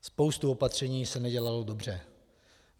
Spousta opatření se nedělala dobře.